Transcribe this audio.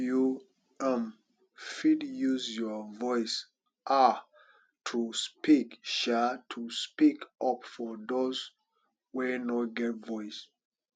you um fit use your voice um to speak um to speak up for those wey no get voice